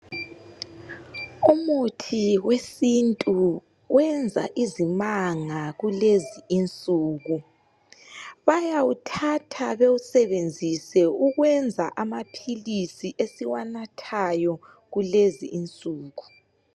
Umuthi wesintu wenza izimanga kulezinsuku bayawuthatha bewusebenzise ukwenza amaphilisi esiwanathayo kulezi insuku.